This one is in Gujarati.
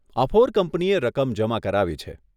અફોર કંપનીએ રકમ જમા કરાવી છે.